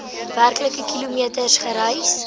werklike kilometers gereis